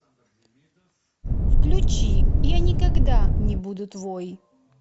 включи я никогда не буду твой